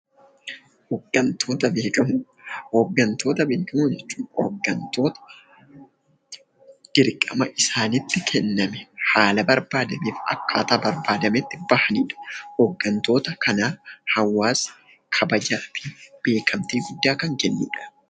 Hooggantoota bebbeekkamoo jechuun hooggantoota dirqama mataa isaanitti kenname karaa barbaachiseen bahatanidha. Hooggantoota kanaaf hawaasni beekamtii kan kennanidha.